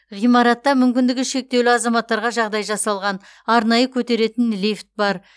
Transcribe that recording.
ғимаратта мүмкіндігі шектеулі азаматтарға жағдай жасалған арнайы көтеретін лифт бар